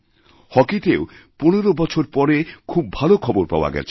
হকিতেও ১৫ বছর পরে খুব ভালো খবরপাওয়া গেছে